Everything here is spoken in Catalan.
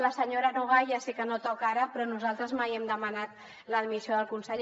a la senyora nogay ja sé que no toca ara però nosaltres mai hem demanat la dimissió del conseller